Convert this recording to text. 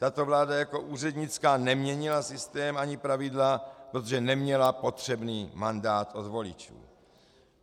Tato vláda jako úřednická neměnila systém ani pravidla, protože neměla potřebný mandát od voličů.